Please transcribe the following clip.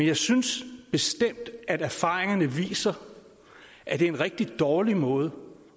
jeg synes bestemt at erfaringerne viser at det er en rigtig dårlig måde